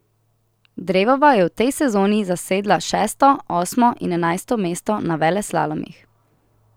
Drevova je v tej sezoni zasedla šesto, osmo in enajsto mesto na veleslalomih.